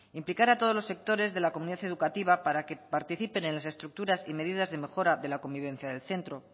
implicar a todos los sectores de la comunidad educativa para que participen en las estructuras y medidas de mejora de la convivencia del centro